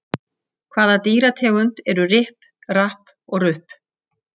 Hvaða dýrategund eru Ripp, Rapp og Rupp?